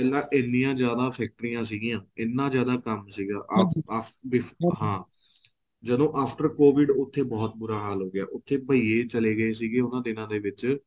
ਪਹਿਆਂ ਏਹਨੀਆਂ ਜਿਆਦਾ ਫ਼ੈਕਟਰੀਆਂ ਸੀਗੀਆਂ ਇਹਨਾਂ ਜਿਆਦਾ ਕੰਮ ਸੀਗਾ ਹਾਂ ਜਦੋਂ after covid ਉੱਥੇ ਬਹੁਤ ਬੁਰਾ ਹਾਲ ਹੋ ਗਿਆ ਉੱਥੇ ਬਹਿਏ ਚੱਲੇ ਗਏ ਸੀ ਉਹਨਾਂ ਦਿਨਾ ਦੇ ਵਿੱਚ